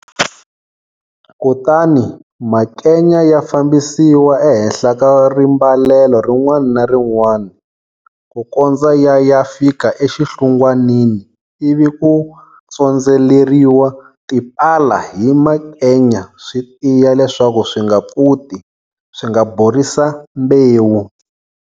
Kutani makenya ya fambisiwa ehenhla ka rimbalelo rin'wana ni rin'wana, ku kondza ya ya fika exinhlungwanini ivi ku tsondzeleriwa tipala hi makenya swi tiya leswaku swi nga pfuti, swi nga borisa mbewu.